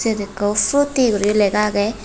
mengo frooti guri lega agey.